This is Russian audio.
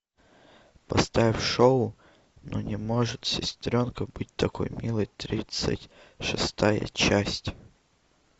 поставь шоу ну не может сестренка быть такой милой тридцать шестая часть